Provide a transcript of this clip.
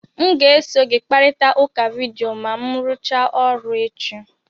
M ga-eso gị kparịta ụka vidiyo ma m rụchaa ọrụ echi.